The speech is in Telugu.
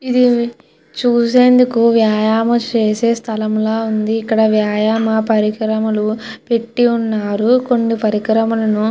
ఇది చూసేందుకు వ్యాయామా చేసే స్థలముగా ఉంది. ఇక్కడ వ్యాయమ పరికరములు పెట్టి ఉన్నారు కొన్ని పరికరములు --